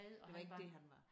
Det var ikke det han var